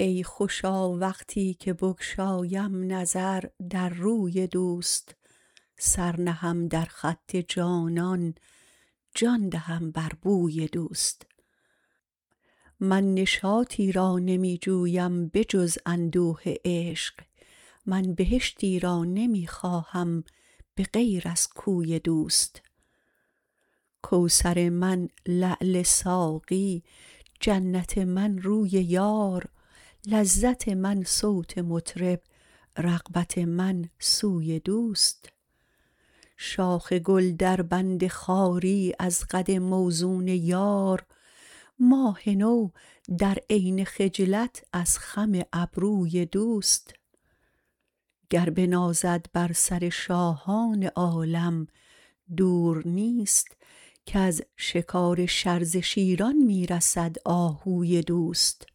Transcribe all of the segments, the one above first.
ای خوشا وقتی که بگشایم نظر در روی دوست سر نهم در خط جانان جان دهم بر بوی دوست من نشاطی را نمی جویم به جز اندوه عشق من بهشتی را نمی خواهم به غیر از کوی دوست کوثر من لعل ساقی جنت من روی یار لذت من صوت مطرب رغبت من سوی دوست شاخ گل در بند خواری از قد موزون یار ماه نو در عین خجلت از خم ابروی دوست گر بنازد بر سر شاهان عالم دور نیست کز شکار شرزه شیران می رسد آهوی دوست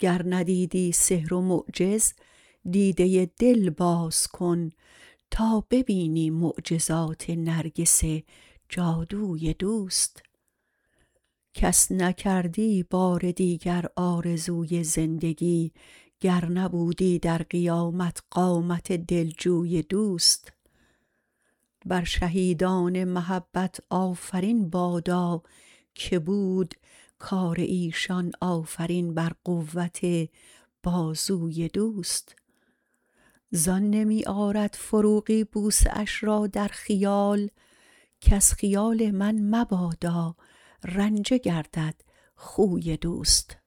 گر ندیدی سحر و معجز دیده دل باز کن تا ببینی معجزات نرگس جادوی دوست کس نکردی بار دیگر آرزوی زندگی گر نبودی در قیامت قامت دل جوی دوست بر شهیدان محبت آفرین بادا که بود کار ایشان آفرین بر قوت بازوی دوست زان نمی آرد فروغی بوسه اش را در خیال کز خیال من مبادا رنجه گردد خوی دوست